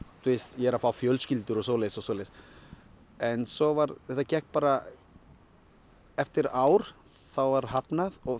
ég er að fá fjölskyldu og svoleiðis og svoleiðis en svo varð það gekk bara eftir ár var hafnað og